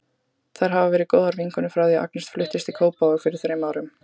Þær hafa verið góðar vinkonur frá því að Agnes fluttist í Kópavog fyrir þrem árum.